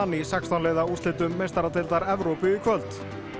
í sextán liða úrslitum meistaradeildar Evrópu í kvöld